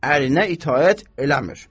Ərinə itaət eləmir.